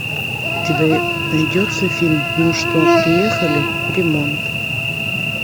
у тебя найдется фильм ну что приехали ремонт